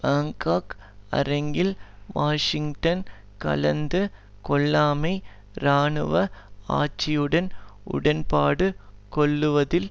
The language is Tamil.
பாங்காக் அரங்கில் வாஷிங்டன் கலந்து கொள்ளாமை இராணுவ ஆட்சியுடன் உடன்பாடு கொள்ளுவதில்